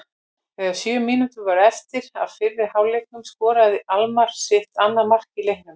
Þegar sjö mínútur voru eftir af fyrri hálfleiknum skoraði Almarr sitt annað mark í leiknum.